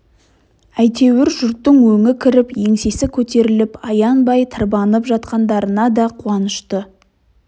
әйтеуір жұрттың өңі кіріп еңсесі көтеріліп аянбай тырбанып жатқандарынада қуанышты